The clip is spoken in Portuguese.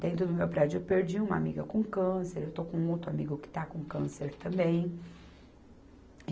Dentro do meu prédio eu perdi uma amiga com câncer, eu estou com outro amigo que está com câncer também.